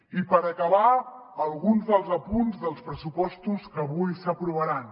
i per acabar alguns dels apunts dels pressupostos que avui s’aprovaran